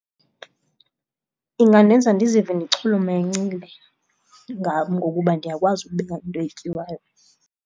Ingandenza ndizive ndichulumencile ngam ngokuba ndiyakwazi ukubeka into etyiwayo.